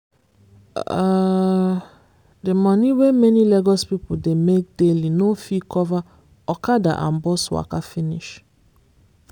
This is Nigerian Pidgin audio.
um the money wey many lagos people dey make daily no even fit cover okada and bus waka finish.